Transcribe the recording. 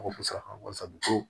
Ko musaka ko